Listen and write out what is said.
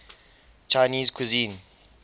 chinese cuisine